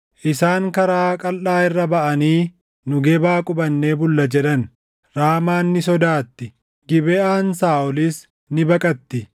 Isaan karaa qalʼaa irra baʼanii, “Nu Gebaa qubannee bulla” jedhan. Raamaan ni sodaatti; Gibeʼaan Saaʼolis ni baqatti.